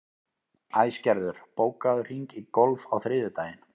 Æsgerður, bókaðu hring í golf á þriðjudaginn.